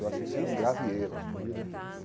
Eu acho isso um grave erro.